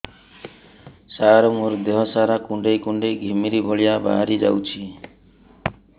ସାର ମୋର ଦିହ ସାରା କୁଣ୍ଡେଇ କୁଣ୍ଡେଇ ଘିମିରି ଭଳିଆ ବାହାରି ଯାଉଛି